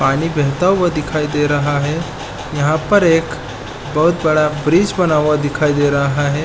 पानी बहता हुआ दिखाई दे रहा है यहाँ पर एक बहुत बड़ा ब्रिज बना हुआ दिखाई दे रहा है।